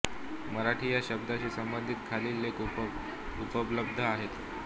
मराठी या शब्दाशी संबंधित खालील लेख उपलब्ध आहेत